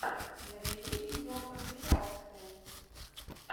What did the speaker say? набери видеокомпиляции